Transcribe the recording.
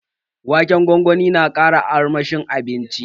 Waken gwangwani na ƙara armashin abincin